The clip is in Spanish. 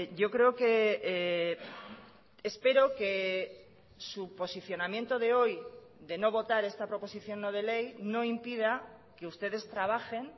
yo creo que espero que su posicionamiento de hoy de no votar esta proposición no de ley no impida que ustedes trabajen